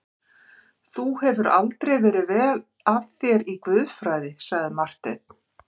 Þú hefur aldrei verið vel að þér í guðfræðinni, sagði Marteinn.